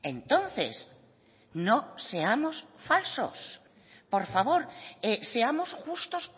entonces no seamos falsos por favor seamos justos